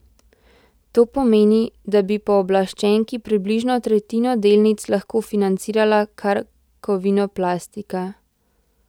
To pomeni, da bi pooblaščenki približno tretjino delnic lahko financirala kar Kovinoplastika.